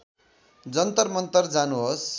जन्तर मन्तर जानुहोस्